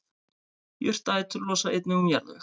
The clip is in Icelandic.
Jurtaætur losa einnig um jarðveg.